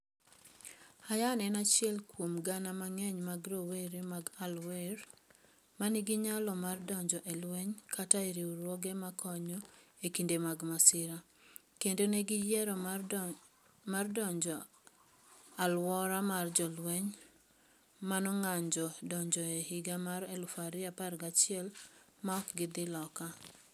Hayyan en achiel kuom gana mang'eny mag rowere mag Al-Waer ma nigi nyalo mar donjo e lweny kata e riwruoge makonyo e kinde mag masira, kendo ne giyiero mar dong ' e alwora ma jolweny ma nong'anjo ne odonjoe e higa mar 2011 ma ok gidhi loka.